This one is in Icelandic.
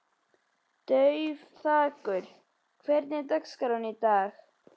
Dufþakur, hvernig er dagskráin í dag?